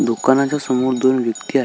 दुकानाच्या समोर दोन व्यक्ती आहे.